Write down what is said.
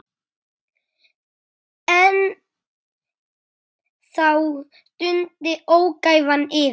En þá dundi ógæfan yfir.